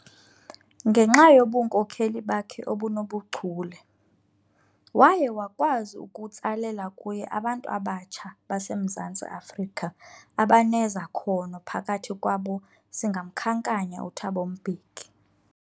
Ngenxa yobunkhokheli bakhe obunobuchule, waye wakwazi ukutsalela kuye abantu abatsha baseMzantsi Afrika abanezakhono phakathi kwabo singamkhankanya uThabo Mbeki.